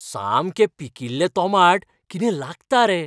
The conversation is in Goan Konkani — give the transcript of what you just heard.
सामकें पिकिल्लें तोमाट कितें लागता रे.